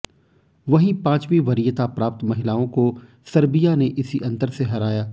वहीं पांचवीं वरीयता प्राप्त महिलाओं को सर्बिया ने इसी अंतर से हराया